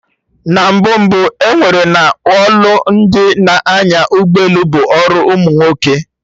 Na mbụ mbụ, ewere na ọlụ ndị n'anya ụgbọ elu bụ ọrụ umunwoke